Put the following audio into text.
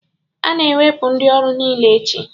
A ga-ewepụ ndị ọrụ niile echi